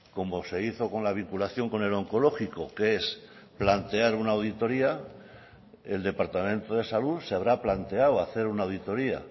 como se hizo con la vinculación con el onkologiko que es plantear una auditoria el departamento de salud se habrá planteado hacer una auditoria